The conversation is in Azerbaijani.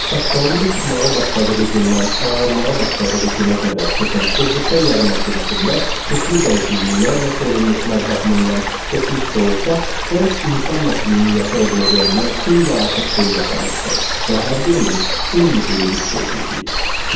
Saqqalımın çıxmağa başladığı gündən ağarmağa başladığı günə qədər keçən o qısa yarım əsr içində köklü dəyişikliklər və çevrilişlər baxımından keçmişdə olsa, 10 insan nəslinin yaşaya biləcəyindən xeyli artıq şey yaşamışdı və hər birimiz eyni şeyi hiss etmişik.